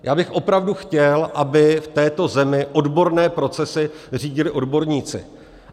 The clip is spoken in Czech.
Já bych opravdu chtěl, aby v této zemi odborné procesy řídili odborníci.